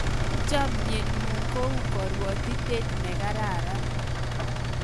chamiet ngun kou karuatitet ne kararan